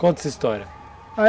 Conta essa história.